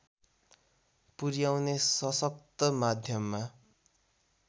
पुर्‍याउने सशक्त माध्यममा